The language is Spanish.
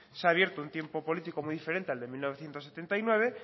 se ha abierto un tiempo político muy diferente al de mil novecientos setenta y nueve